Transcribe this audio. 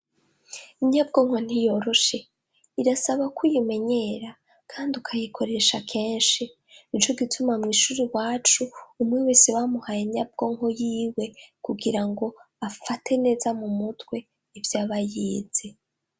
Inyabwonko ntiyoroshe. Irasaba ko uyimenyera. Kandi ukayikoresha kenshi. Ni co gituma mw'ishuri iwacu, umwe wese bamuhaye inyabwonko y'iwe, kugira ngo, afate neza mu mutwe, ivyo aba yize.